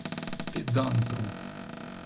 педантру